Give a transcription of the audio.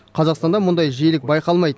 қазақстанда мұндай жиілік байқалмайды